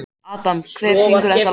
Adam, hver syngur þetta lag?